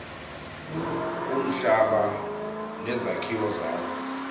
umhlaba nezakhiwo zakho